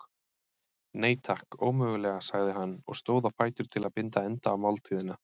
Nei, takk, ómögulega sagði hann og stóð á fætur til að binda enda á máltíðina.